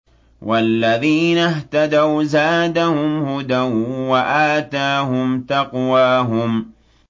وَالَّذِينَ اهْتَدَوْا زَادَهُمْ هُدًى وَآتَاهُمْ تَقْوَاهُمْ